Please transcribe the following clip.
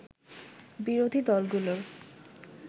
বিরোধী দলগুলোর